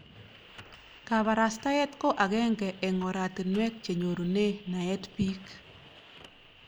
Kaparastaet ko akenge eng' oratinwek che nyorune naet piik.